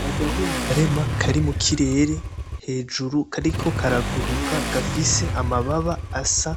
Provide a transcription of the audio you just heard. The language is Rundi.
N'agahungarema kari mu kirere hejuru kariko karaguruka gafise amababa asa